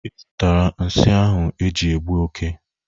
Ị zụtara nsi ahụ eji egbụ oke?